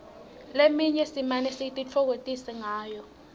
leminye simane sititfokotise ngayo